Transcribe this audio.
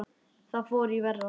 Þar fór í verra.